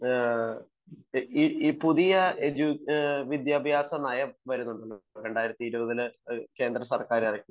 ഈ പുതിയ വിദ്യാഭ്യാസ നയം വരുന്നുണ്ടല്ലോ 2020ൽ കേന്ദ്ര സർക്കാർ ഇറക്കിയത്